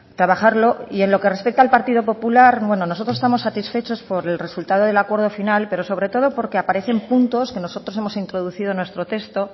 trabajarlo y en lo que respecta al partido popular bueno nosotros estamos satisfechos por el resultado del acuerdo final pero sobre todo porque aparecen puntos que nosotros hemos introducido en nuestro texto